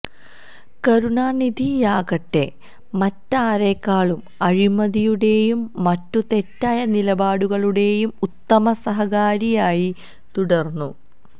കരുണാനിധിയാകട്ടെ മറ്റാരേക്കാളും അഴിമതിയുടെയും മറ്റു തെറ്റായ നിലപാടുകളുടെയും ഉത്തമ സഹകാരിയായി തുടർന്നു